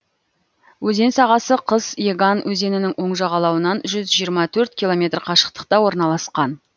өзен сағасы қыс еган өзенінің оң жағалауынан жүз жиырма төрт километр қашықтықта орналасқан